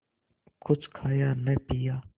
कुछ खाया न पिया